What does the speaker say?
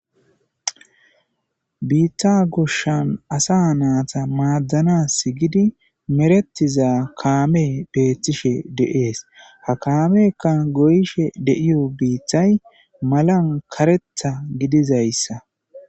biita gushshan asa naata maaddanas gidi meretiza kaame beethtishe deees ha kaamekka goyishe deiyo biithay malan karetha gidizayssa